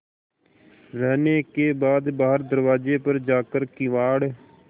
रहने के बाद बाहर दरवाजे पर जाकर किवाड़